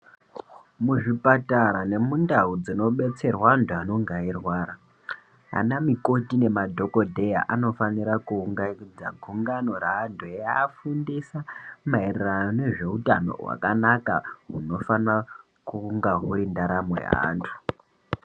Muzvipatara nemundau dzinodetserwa antu anenge eirwara anamukoti nemadhokodheya anofanira kuunganidza gungano reantu eiafundisa maererano nezveutano hweantu hwakanaka hunofana kunga hune ndaramo yeantu.